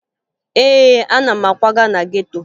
Ee, ana m akwaga na geto